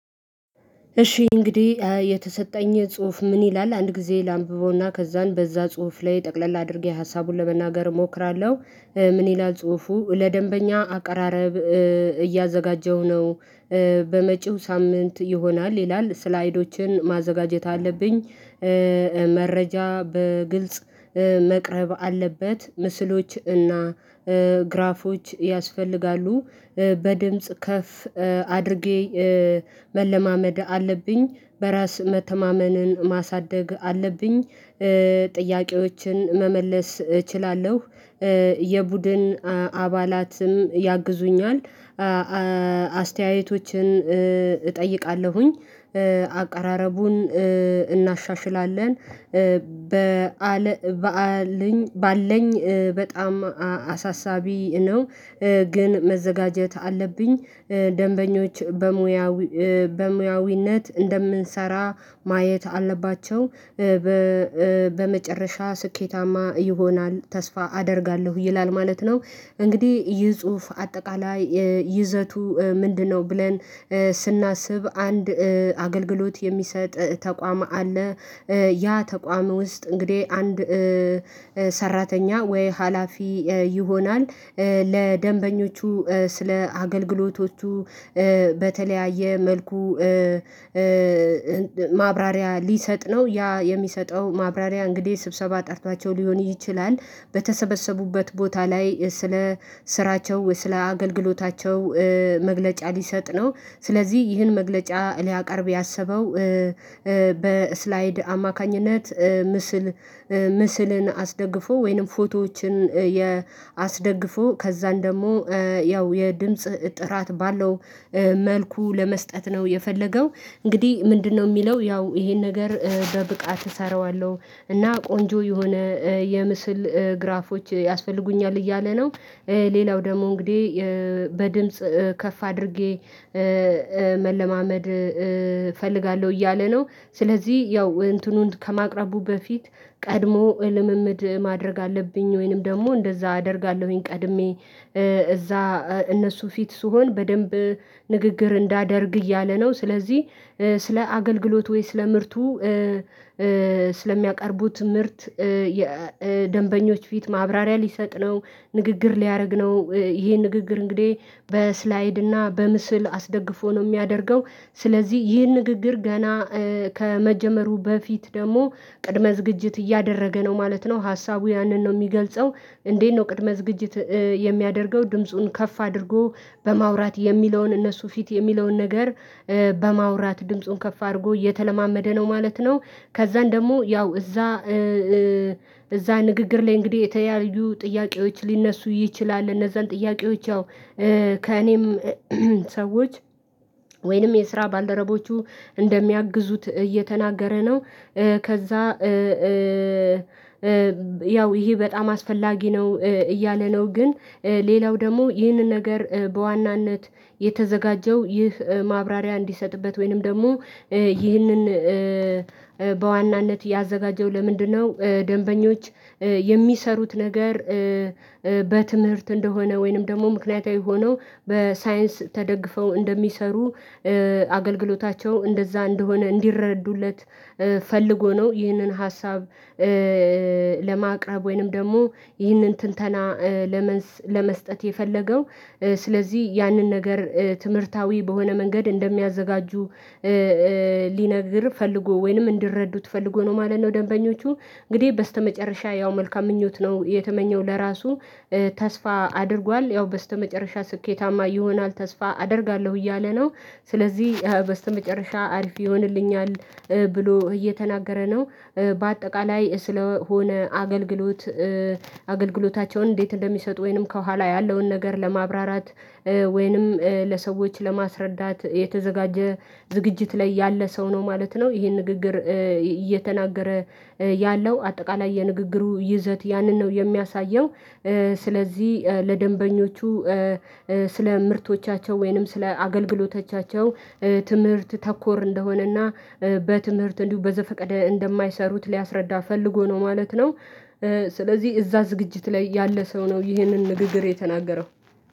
እሺ እንግዲህ የተሰጠኝ ጽሁፍ ምን ይላል አንድ ጊዜ ላንብበውና ከዛን በዛ ጽሁፍ ላይ ጠቅለል አድርጌ ሀሳቡን ለመናገር እሞክራለሁ። ምን ይላል ጽሁፉ ለደንበኛ አቀራረብ እያዘጋጀው ነው። በመጪው ሳምንት ይሆናል ይላል ስላይዶችን ማዘጋጀት አለብኝ። መረጃ በግልጽ መቅረብ አለበት። ምስሎች እና ግራፎች ያስፈልጋሉ። በድምጽ ከፍ አድርጌ መለማመድ አለብኝ። በራስ መተማመንን ማሳደግ አለብኝ። ጥያቄዎችን መመለስ እችላለሁ። የቡድን አባላትም ያግዙኛል። አስተያየቶችን እጠይቃለሁኝ። አቀራረቡን እናሻሽላለን። ባለኝ በጣም አሳሳቢ ነው። ግን መዘጋጀት አለብኝ። ደንበኞች በሙያዊ በሙያዊነት እንደምንሰራ ማየት አለባቸው። በመጨረሻ ስኬታማ ይሆናል ተስፋ አደርጋለሁ። ይላል ማለት ነው እንግዲህ ይህ ጽሁፍ አጠቃላይ ይዘቱ ምንድነው ብለን ስናስብ አንድ አገልግሎት የሚሰጥ ተቋም አለ። ያ ተቋም ውስጥ እንግዲህ አንድ ሰራተኛ ወይ ሀላፊ ይሆናል ለደንበኞቹ ስለ አገልግሎቶቹ በተለያየ መልኩ ማብራሪያ ሊሰጥ ነው። ያ የሚሰጠው ማብራሪያ እንግዲህ ስብሰባ ጠርቷቸው ሊሆን ይችላል። በተሰበሰቡበት ቦታ ላይ ስለ ስራቸው ወይ ስለ አገልግሎታቸው መግለጫ ሊሰጥ ነው። ስለዚህ ይህን መግለጫ ሊያቀርብ ያሰበው በስላይድ አማካኝነት ምስል ምስልን አስደግፎ ወይንም ፎቶዎችን የ አስደግፎ ከዛን ደግሞ ያው የድምጽ ጥራት ባለው መልኩ ለመስጠት ነው የፈለገው። እንግዲህ ምንድነው ሚለው ያው ይሄን ነገር በብቃት እሰራዋለሁ እና ቆንጆ የሆነ የምስል ግራፎች ያስፈልጉኛል እያለ ነው። ሌላው ደግሞ እንግዲህ በድምጽ ከፍ አድርጌ መለማመድ እፈልጋለሁ እያለ ነው። ስለዚህ ያው እንትኑን ከማቅረቡ በፊት ቀድሞ ልምምድ ማድረግ አለብኝ ወይንም ደግሞ እንደዛ አደርጋለሁኝ ቀድሜ እዛ እነሱ ፊት ስሆን በደንብ ንግግር እንዳደርግ እያለ ነው ስለዚህ ስለ አገልግሎት ወይ ስለ ምርቱ ስለሚያቀርቡት ምርት የደንበኞች ፊት ማብራሪያ ሊሰጥ ነው ንግግር ሊያደርግ ነው። ይሄ ንግግር እንግዲህ በስላይድ እና በምስል አስደግፎ ነው የሚያደርገው። ስለዚህ ይህን ንግግር ገና ከመጀመሩ በፊት ደግሞ ቅድመ ዝግጅት እያደረገ ነው ማለት ነው ሀሳቡ ያንን ነው የሚገልጸው። እንዴት ነው ቅድመ ዝግጅት የሚያደርገው? ድምፁን ከፍ አድርጎ በማውራት የሚለውን እነሱ ፊት የሚለውን ነገር በማውራት ድምፁን ከፍ አድርጎ እየተለማመደ ነው ማለት ነው። ከዛን ደግሞ ያው እዛ እዛ ንግግር ላይ እንግዲህ የተለያዩ ጥያቄዎች ሊነሱ ይችላል እነዛን ጥያቄዎች ያው ከእኔም ሰዎች ወይንም የስራ ባልደረቦቹ እንደሚያግዙት እየተናገረ ነው። ከዛ ያው ይሄ በጣም አስፈላጊ ነው እያለ ነው፤ ግን ሌላው ደግሞ ይህንን ነገር በዋናነት የተዘጋጀው ይህ ማብራሪያ እንዲሰጥበት ወይንም ደግሞ ይህንን በዋናነት ያዘጋጀው ለምንድነው ደንበኞች የሚሰሩት ነገር በትምህርት እንደሆነ ወይንም ደግሞ ምክንያታዊ ሆነው በሳይንስ ተደግፈው እንደሚሰሩ አገልግሎታቸው እንደዛ እንደሆነ እንዲረዱለት ፈልጎ ነው ይህንን ሀሳብ ለማቅረብ ወይንም ደግሞ ይህንን ትንተና ለመስ ለመስጠት የፈለገው። ስለዚህ ያንን ነገር ትምህርታዊ በሆነ መንገድ እንደሚያዘጋጁ ሊነግር ፈልጎ ወይንም እንዲረዱት ፈልጎ ነው ማለት ነው ደንበኞቹ። እንግዲህ በስተመጨረሻ ያው መልካም ምኞት ነው የተመኘው ለራሱ ተስፋ አድርጓል ያው በስተመጨረሻ ስኬታማ ይሆናል ተስፋ አደርጋለሁ እያለ ነው። ስለዚህ በስተመጨረሻ አሪፍ ይሆንልኛል ብሎ እየተናገረ ነው። በአጠቃላይ ስለሆነ አገልግሎት አገልግሎታቸውን እንዴት እንደሚሰጡ ወይንም ከኋላ ያለውን ነገር ለማብራራት ወይንም ለሰዎች ለማስረዳት የተዘጋጀ ዝግጅት ላይ ያለ ሰው ነው ማለት ነው። ይሄን ንግግር እየተናገረ ያለው አጠቃላይ የንግግሩ ይዘት ያንን ነው የሚያሳየው ስለዚህ ለደንበኞቹ ስለ ምርቶቻቸው ወይንም ስለ አገልግሎቶቻቸው ትምህርት ተኮር እንደሆነና በትምህርት እንዲሁ በዘፈቀደ እንደማይሰሩት ሊያስረዳ ፈልጎ ነው ማለት ነው። ስለዚህ እዛ ዝግጅት ላይ ያለ ሰው ነው ይህንን ንግግር የተናገረው።